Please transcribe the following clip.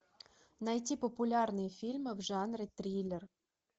найти популярные фильмы в жанре триллер